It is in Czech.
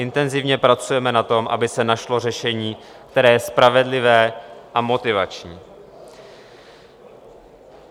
Intenzivně pracujeme na tom, aby se našlo řešení, které je spravedlivé a motivační.